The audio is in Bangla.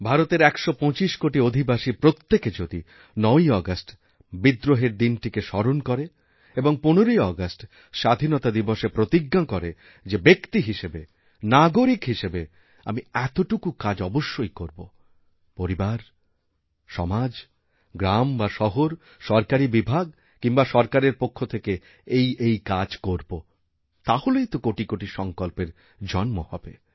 ভারতের ১২৫ কোটি অধিবাসীরপ্রত্যেকে যদি ৯ই আগস্ট বিদ্রোহের দিনটিকে স্মরণ করে এবং ১৫ই আগস্ট স্বাধীনতাদিবসে প্রতিজ্ঞা করে যে ব্যক্তি হিসেবে নাগরিক হিসেবে আমি এতটুকু কাজ অবশ্যই করবপরিবার সমাজ গ্রাম বা শহর সরকারি বিভাগ কিংবা সরকারের পক্ষ থেকে এই এই কাজ করব তাহলেই তো কোটি কোটি সঙ্কল্পের জন্ম হবে